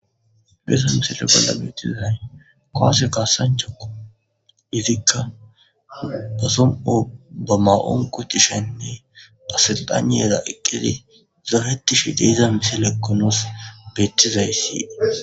Deesa misile bolla beettizay qoase kaasancha izikka ba som7o ba ma7on kotishenne pasilxaneyeda eqqizi zaaretishi de iza misilekkonoos beettizayssi.